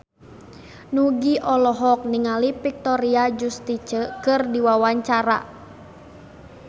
Nugie olohok ningali Victoria Justice keur diwawancara